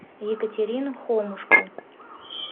екатерину хомушку